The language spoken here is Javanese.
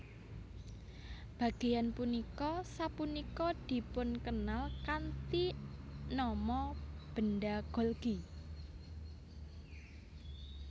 Bagéyan punika sapunika dipunkenal kanthi nama benda Golgi